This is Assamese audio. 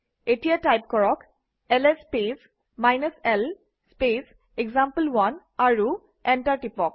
এতিয়া টাইপ কৰক - LS space l space example one আৰু এণ্টাৰ টিপক